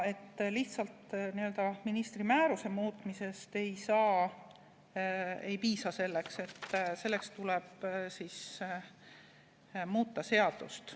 Lihtsalt ministri määruse muutmisest selleks ei piisa, tuleb muuta seadust.